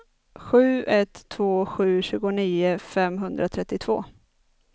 sju ett två sju tjugonio femhundratrettiotvå